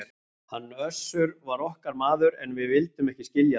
Hann Össur var okkar maður, en við vildum ekki skilja það!